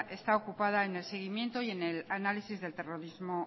está ocupada en el seguimiento y en análisis del terrorismo